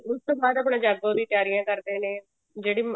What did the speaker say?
ਉਸ ਤੋਂ ਬਾਅਦ ਆਪਣਾ ਜਾਗੋ ਦੀ ਤਿਆਰੀਆਂ ਕਰਦੇ ਨੇ ਜਿਹੜੀ